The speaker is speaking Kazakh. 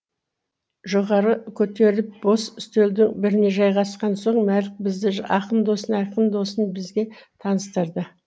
жоғары көтеріліп бос үстелдің біріне жайғасқан соң мәлік бізді ақын досына ақын досын бізге таныстырды